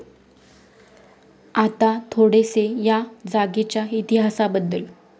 आता थोडेसे या जागेच्या इतिहासाबद्दल